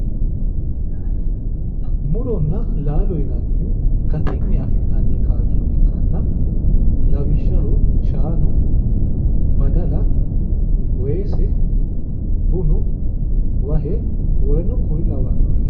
muronna laalo yinannihu gatinni afi'nanni gaashsho ikkitanna lawishshaho shaanu badala weese bunu wahe woleno kuri lawannoreeti.